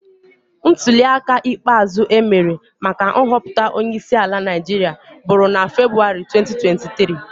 Ntulịaka ikpeazụ e mere maka nhọpụta onyeisiala Naijiria bụrụ na Febụwarị 2023